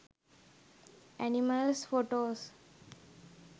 animals photos